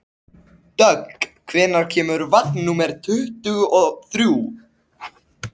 Dögg, hvenær kemur vagn númer tuttugu og þrjú?